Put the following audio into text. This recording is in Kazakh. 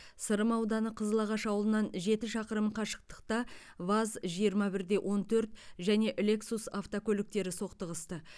сырым ауданы қызылағаш ауылынан жеті шақырым қашықтықта ваз жиырма бір де он төрт және лексус автокөліктері соқтығысты